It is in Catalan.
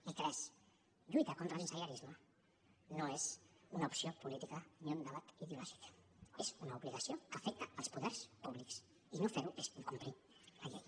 i tres lluitar contra el sensellarisme no és una opció política ni un debat ideològic és una obligació que afecta els poders públics i no fer ho és incomplir la llei